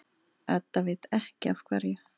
Edda veit ekki af hverju.